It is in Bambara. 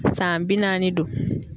San bi naani don.